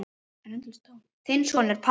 Þinn sonur, Pálmi.